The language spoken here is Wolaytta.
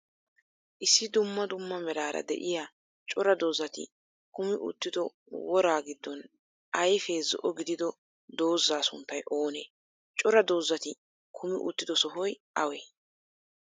Issi duummaa duummaa meraara de7iya cora doozati kuumi uttido woraa giddon ayfe zo7o giddido dooza sunttay oonee? Cora doozati kuumi uttido sohoy awee?